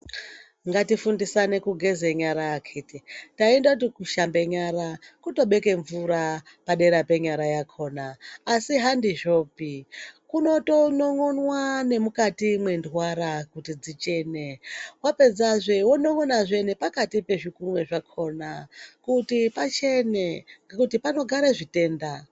Ngatifundisane kugeza nyara akhiti taindoti kushambe nyara kutobeke mvura padera penyara yakona. Asi handizvopi kunotonin'onwa nemukati mwendwara kuti dzichene. Vapedzazve vonon'ona nepakati pezvikunwe zvakona kuti pachene, ngekuti panogare zvitenda.